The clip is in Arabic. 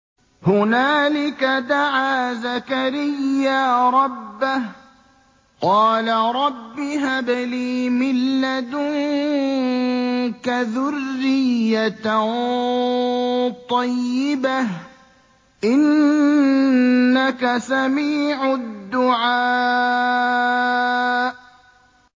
هُنَالِكَ دَعَا زَكَرِيَّا رَبَّهُ ۖ قَالَ رَبِّ هَبْ لِي مِن لَّدُنكَ ذُرِّيَّةً طَيِّبَةً ۖ إِنَّكَ سَمِيعُ الدُّعَاءِ